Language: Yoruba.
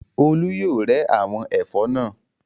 Olú yóò rẹ́ àwọn ẹ̀fọ́ náà.